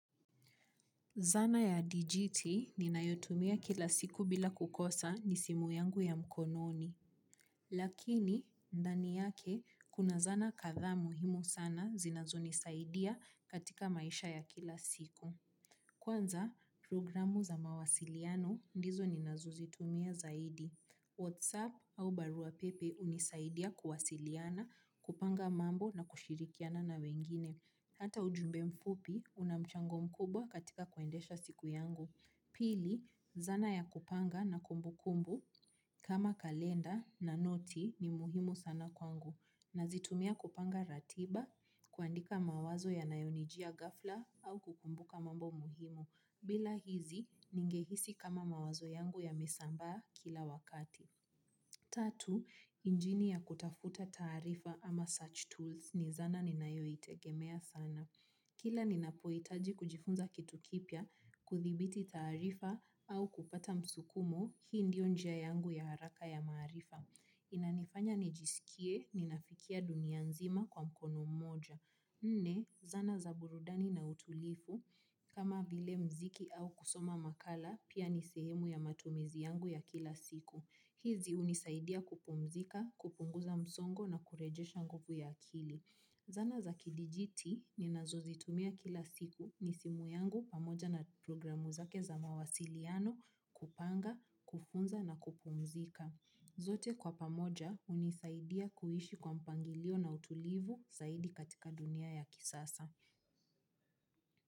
Zana ya dijiti ninayotumia kila siku bila kukosa ni simu yangu ya mkononi. Lakini, ndani yake, kuna zana kadhaa muhimu sana zinazonisaidia katika maisha ya kila siku. Kwanza, programu za mawasiliano ndizo ninazozitumia zaidi. WhatsApp au baruapepe hunisaidia kuwasiliana kupanga mambo na kushirikiana na wengine. Hata ujumbe mfupi una mchago mkubwa katika kuendesha siku yangu. Pili, zana ya kupanga na kumbu kumbu kama kalenda na noti ni muhimu sana kwangu. Nazitumia kupanga ratiba kuandika mawazo yanayonijia ghafla au kukumbuka mambo muhimu. Bila hizi, ningehisi kama mawazo yangu yamesambaa kila wakati. Tatu, injini ya kutafta taarifa ama search tools, ni zana ninayoitegemea sana. Kila ninapoitaji kujifunza kitu kipya, kudhibiti taarifa au kupata msukumo, hii ndio njia yangu ya haraka ya maarifa. Inanifanya nijisikie ninafikia dunia nzima kwa mkono moja. Nne, zana za burudani na utulivu. Kama vile muziki au kusoma makala pia ni sehemu ya matumizi yangu ya kila siku. Hizi hunisaidia kupumzika, kupunguza msongo na kurejesha nguvu ya akili. Zana za kidijiti ninazozitumia kila siku ni simu yangu pamoja na programu zake za mawasiliano kupanga, kufunza na kupumzika. Zote kwa pamoja hunisaidia kuishi kwa mpangilio na utulivu saidi katika dunia ya kisasa.